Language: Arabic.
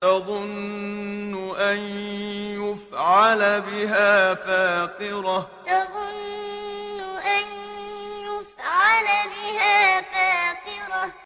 تَظُنُّ أَن يُفْعَلَ بِهَا فَاقِرَةٌ تَظُنُّ أَن يُفْعَلَ بِهَا فَاقِرَةٌ